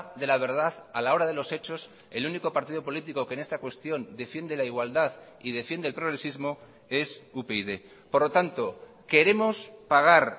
de la verdad a la hora de los hechos el único partido político que en esta cuestión defiende la igualdad y defiende el progresismo es upyd por lo tanto queremos pagar